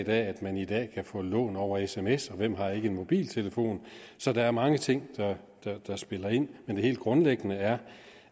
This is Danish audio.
af at man i dag kan få lån over sms og hvem har ikke en mobiltelefon så der er mange ting der spiller ind men det helt grundlæggende er